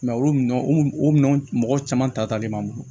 olu min o minɛn mɔgɔ caman ta le b'an bolo